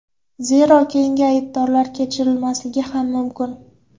Zero, keyingi aybdorlar kechirilmasligi ham mumkin.